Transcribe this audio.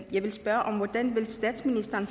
jeg vil spørge hvordan statsministeren